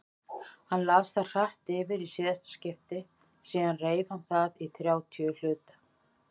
Hann las það hratt yfir í síðasta skipti, síðan reif hann það í þrjátíu hluta.